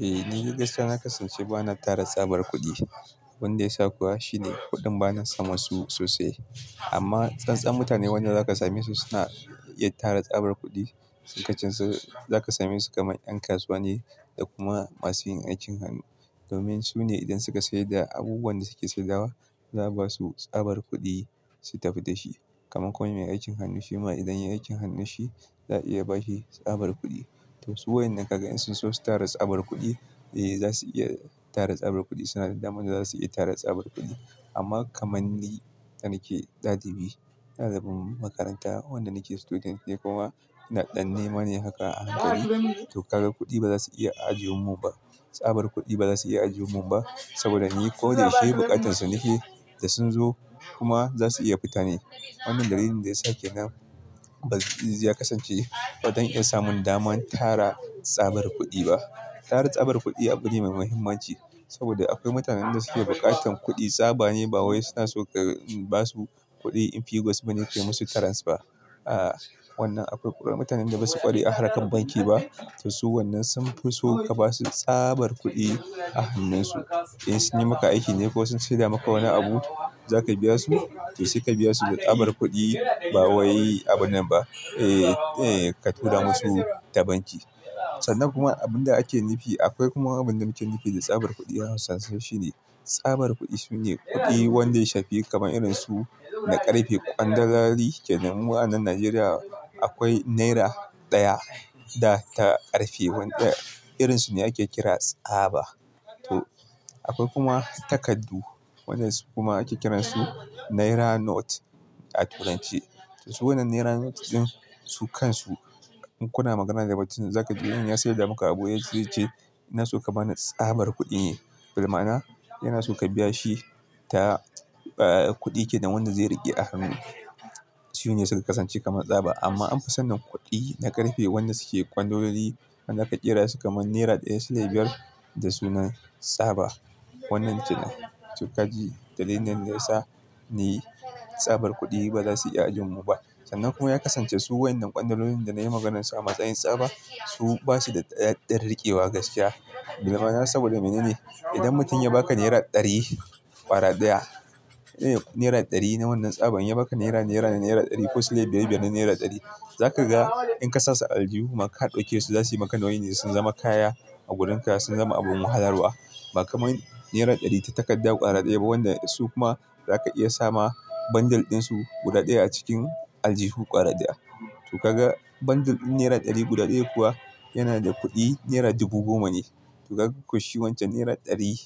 Eh, ni de gaskiya na kasance ba na tara tsabar kuɗi. Wanda ya sa kuwa shine kuɗin ba na samu su sosai. Amma tsantsan mutane wani lokaci same su suna yin tara tsabar kuɗi. Wasun su zaka same su kamar ƴan kasuwa ne da kuma masu yin aikin hannu. Domin su ne idan suka sayar da abubuwan da suke saidawa, za a ba su tsabar kuɗi, su tafi da shi. Kaman kowane mai aikin hannu shi ma idan ya yi aikin hannun shi, za a iya ba shi tsabar kuɗi. To su wayen nan ka ga in sun so tara tsabar kuɗi, eh za su iya tara tsabar kuɗi. Suna da damar za su iya tara tsabar kuɗi. Amma kamar ni, da nake ɗalibi, ɗalibin makaranta, wanda nake student ne kuma ina ɗan nema ne haka a hankali. To kaga kuɗi ba za su iya ajiye mu ba, tsabar kuɗi ba za su iya ajiye mu ba. Saboda ni ko da ya shi bukatun su nike da sun zo kuma za su iya fita ne. Wannan dalilin da ya sa kenan ba zai kasance ba don iya samun daman tara tsabar kuɗi ba. Tara tsabar kuɗi abu ne mai muhimmanci saboda akwai mutanen da suke bukatan kuɗi tsaba ne ba wai suna so ka ba su kuɗi in figos bane ke musu tarance ba. Aaa, wannan akwai ƙuri'ar mutanen da basu ƙware a harkar banki ba. To su wannan sun fi so ka ba su tsabar kuɗi a hannun su. In sun yi maka aiki ne ko sun sayar da maka wani abu, za ka biya su, to suka biya su da tsabar kuɗi ba wai abun nan ba, eh, eh, ka tura musu ta banki. Sannan kuma abun da ake nufi, akwai kuma abun da muke nufi da tsabar kuɗi. An san shi shine tsabar kuɗi shine kuɗi wanda ya shafi kaman irin su na ƙarfe. Kwandolali, ƙenan mu a nan Najeriya akwai naira ɗaya da ta ƙarfe. Wanda irin su ne ake kira tsaba. To akwai kuma takardu, waɗanda su kuma ake kiran su naira note a turanci. To su wannan naira note din su kansu, in kuna magana da mutum za ka ji in ya sayar da maka abu, zai ce, "ina so ka bani tsabar kuɗin." Dalilana yana so ka biya shi ta, e, kuɗi ke kenan wanda zai riƙe a hannu. Shi ne suka kasance kaman tsaba. Amma an fi sanin kuɗi na ƙarfe, wannan suke kwandololi, an aika ƙira su kaman naira ɗaya, sile biyar da sunan tsaba. Wannan shine. To kaji dalilin da ya sa ne tsabar kuɗi ba za su iya ajiye mu ba. Sannan kuma ya kasance su wayen nan ƙwandololin da na yi maganarsu a matsayin tsaba, su basu da ɗan riƙewa gaskiya. Dalila na saboda mene ne? Idan mutum ya baka naira ɗari, ƙwara ɗaya, naira ɗari na wannan tsaban. Ya baka naira naira na naira ɗari ko sile biyar biyar na naira ɗari. Za ka ga in ka sa su aljihu, ma ka dauke su, za su yi maka nauyi ne, sun zama kaya a gurin ka, sun zama abun wahalar wa. Ba kamar naira ɗari ta takarda ƙwara ɗaya ba, wanda su kuma za ka iya sa ma bundle din su guda ɗaya a cikin aljihu ƙwara ɗaya. To kaga bundle ɗin naira ɗari guda ɗaya kuwa yana da kuɗi naira dubu goma ne. To ka ga ko shi wancan naira ɗari